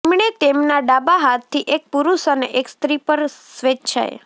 તેમણે તેમના ડાબા હાથથી એક પુરુષ અને એક સ્ત્રી પર સ્વેચ્છાએ